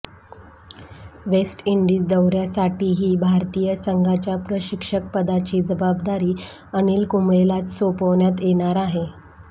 waste Indies दौऱ्यासाठीही भारतीय संघाच्या प्रशिक्षकपदाची जबाबदारी अनिल कुंबळेलाच सोपवण्यात येणार आहे